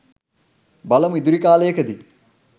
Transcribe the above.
බලමු ඉදිරි කාලයකදී